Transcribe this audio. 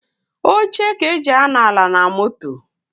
Oche ka eji anọ ala na moto.